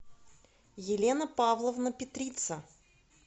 елена павловна петрица